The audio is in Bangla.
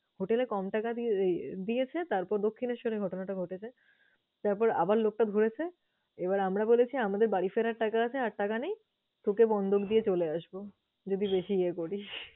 Hotel এ কম টাকা দিয়ে~ এই দিয়েছে। তারপর দক্ষিণেশ্বরে ঘটনাটা ঘটেছে, তারপর আবার লোকটা ঘুরেছে, এবার আমরা বলেছি আমাদের বাড়ি ফেরার টাকা আছে আর টাকা নেই। তোকে বন্ধক দিয়ে চলে আসবো যদি বেশি ইয়ে করিস।